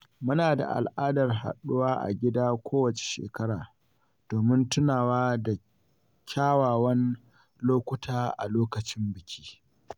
Muna da al’adar haɗuwa a gida kowacce shekara, domin tunawa da kyawawan lokuta a lokacin biki.